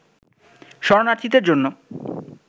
শরণার্থীদের জন্য